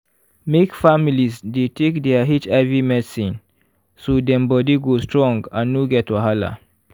make families dey take their hiv medicine so dem body go strong and no get wahala.